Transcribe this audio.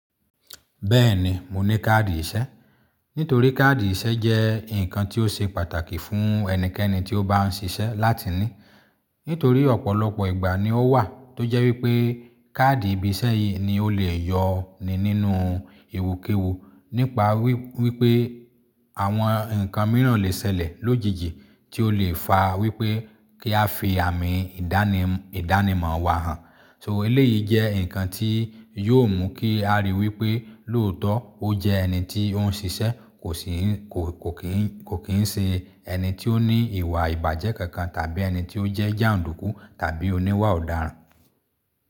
Bẹ́ẹ̀ni, mo ní káàdì ìṣẹ́. Nítorí káàdì ìṣẹ́ jẹ́ nǹkan tí ó ṣe pàtàkì fún ẹnikẹ́ni tí ó bá ń ṣiṣẹ́ láti ní. Nítorí ọ̀pọ̀lọpọ̀ ìgbà ni ó wà tó jẹ́ wípé káàdì ibi iṣẹ́ yìí ni ó lè yọ ni nínú ẹwukẹwu nípa wípé àwọn ǹkan mìíràn lè ṣẹlẹ̀ lójijì tí ó lè fa wípé kí a fi àmì ìdánimọ̀ wa hàn. So eléyìí jẹ́ ǹkan tí yóò mú kí a ríi wípé lóòótọ́ ó jẹ́ ẹni tí ó ń ṣiṣẹ́ kò kín ń ṣe ẹni tí ó ní ìwà ìbàjẹ́ kankan tàbí ẹni tí ó jẹ́ jàǹdùkú tàbí oníwà ọ̀daràn.